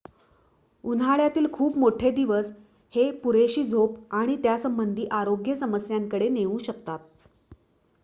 उन्हाळ्यातील खूप मोठे दिवस हे पुरेशी झोप आणि त्यासंबंधी आरोग्य समस्या याकडे नेऊ शकतात